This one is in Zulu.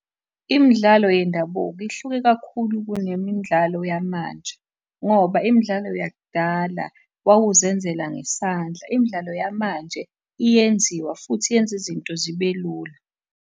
Imidlalo yendabuko ihluke kakhulu kunemidlalo yamanje, ngoba imidlalo yakudala wawuzenzela ngesandla. Imidlalo yamanje iyenziwa futhi yenza izinto zibe lula.